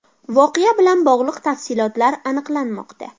Voqea bilan bog‘liq tafsilotlar aniqlanmoqda.